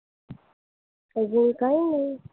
अजून काय नाही.